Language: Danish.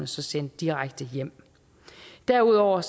sendt direkte hjem derudover